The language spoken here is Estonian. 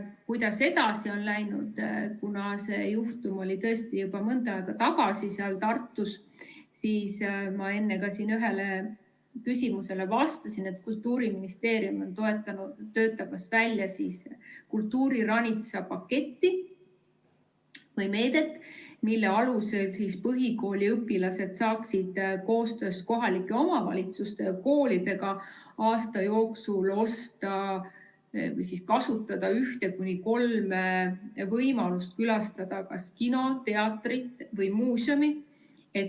Kuidas edasi on läinud, kuna see juhtum oli tõesti juba mõnda aega tagasi Tartus, siis ma enne ühele küsimusele vastasin, et Kultuuriministeerium on välja töötamas kultuuriranitsa paketti või meedet, mille alusel põhikooli õpilased saaksid koostöös kohalike omavalitsuste ja koolidega aasta jooksul kasutada ühte kuni kolme võimalust külastada kas kino, teatrit või muuseumi.